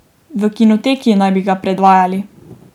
V Kinoteki naj bi ga predvajali.